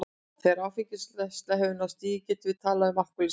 Þegar áfengisneysla hefur náð þessu stigi getum við talað um alkohólisma.